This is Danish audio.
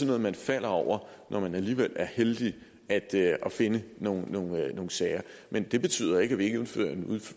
noget man falder over når man alligevel er heldig at finde nogle sager men det betyder jo ikke at vi